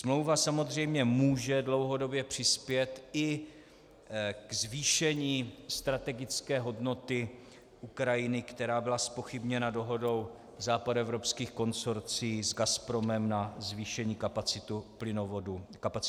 Smlouva samozřejmě může dlouhodobě přispět i ke zvýšení strategické hodnoty Ukrajiny, která byla zpochybněna dohodou západoevropských konsorcií s Gazpromem na zvýšení kapacity plynovodu Nord Stream.